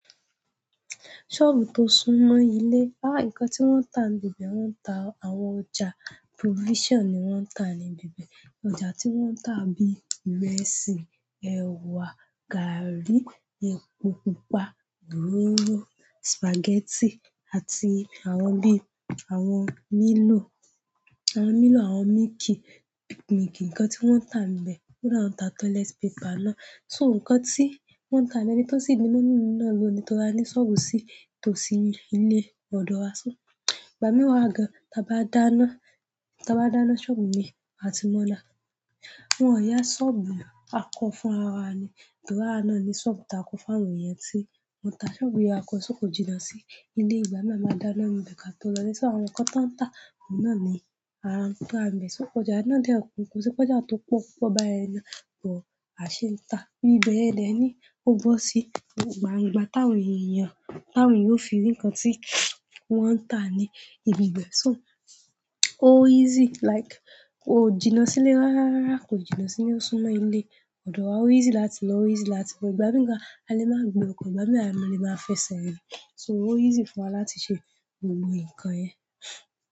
Shop tó súnmọ́ ilé, ah! Nkan tí wọ́n ń tà níbẹ̀, wọ́n ń tà àwọn ọjà provision ni wọ́n ń tà níbi ibe. Ọjà tí wọ́n ń tà n bí ìrẹsì, ẹ̀wà, gàrí, epo pupa, oroorò, spaghetti àti àwọn bíi àwọn Milo, àwọn Milo, àwọn milk, peak milk. Nǹkan tí wọ́n ń tà níbẹ̀, kódà woń tà toilet paper náà. So nǹkan tí wọ́n ń tà níbẹ̀ ni, ton si ni mummy mi na lo nii, torí a ní shop sí tó sí ilé ọ̀dọ̀ wa. Ìgbà mí wa gan, tà bá dáná, tà bá dáná ni shop ni a ti mọ́ nda. Wọ́n ò yá shop mo, a ko fúnra wa ni, torí awa náà ni shop takọ fún àwọn èèyàn tí wọn tà. Shop yìí a kọ só kò jìnnà sí ilé ìgbà mí a máa dáná níbẹ̀ ká tó lọ ile. Àwọn nkan tan nta, oun náà ni àwọn oun ti wa nbe, so ọjà náà de kun ko se pe ọjà to po oupo bayen náà, but a sin ta ibi beyen dey ni o bo si gbangba tawon eeyan, tawon eeyan o fi ri nkan ti won ta ni ibi ibe so ó easy like kò jìnnà sílé rárá, kò jìnnà sí ilé o súnmọ́ ilé ọ̀dọ̀ wa. Ó easy láti lọ, ó easy láti wọ, ìgbà mí gan a lè máa gbe ọkọ̀, ìgbà mìíràn a lè máa fẹsẹ̀ rìn. So ó easy fún wa láti ṣe gbogbo nǹkan ẹ.